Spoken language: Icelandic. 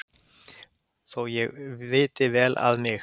Þó ég viti vel að mig